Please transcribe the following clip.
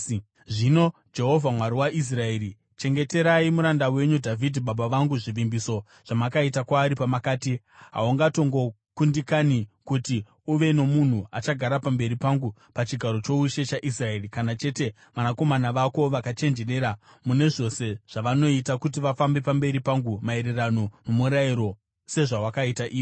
“Zvino Jehovha, Mwari waIsraeri, chengeterai muranda wenyu Dhavhidhi baba vangu zvivimbiso zvamakaita kwaari pamakati, ‘Haungatongokundikani kuti uve nomunhu achagara pamberi pangu pachigaro choushe chaIsraeri, kana chete vanakomana vako vakachenjerera mune zvose zvavanoita kuti vafambe pamberi pangu maererano nomurayiro, sezvawakaita iwe.’